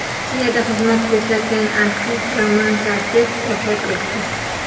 Rossiyada xizmat ko‘rsatgan artist Roman Karsev vafot etdi.